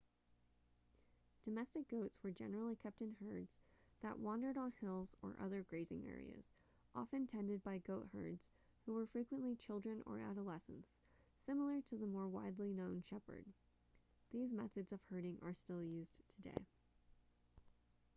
domestic goats were generally kept in herds that wandered on hills or other grazing areas often tended by goatherds who were frequently children or adolescents similar to the more widely known shepherd these methods of herding are still used today